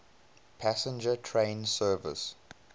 passenger train service